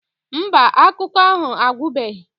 Mba, akụkọ ahụ agwụbeghị